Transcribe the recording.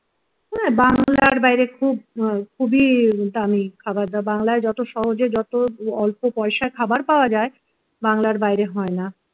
বাংলার বাইরে খুব খুবই দামি খাবার দাবার বাংলায় যত সহজেই যত অল্প পয়সায় খাবার পাওয়া যায় বাংলার বাইরে হয় না